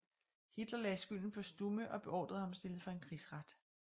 Hitler lagde skylden på Stumme og beordrede ham stillet for en krigsret